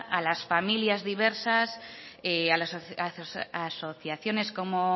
a las familias diversas a las asociaciones como